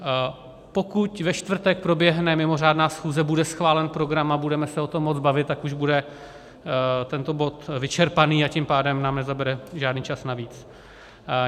Pokud ve čtvrtek proběhne mimořádná schůze, bude schválen program a budeme se o tom moci bavit, tak už bude tento bod vyčerpaný, a tím pádem nám nezabere žádný čas navíc.